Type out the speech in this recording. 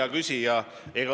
Hea küsija!